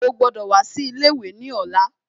Ó gbọ́dọ̀ wá sí ilé ìwé ní ọ̀la